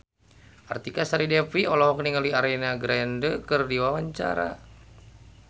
Artika Sari Devi olohok ningali Ariana Grande keur diwawancara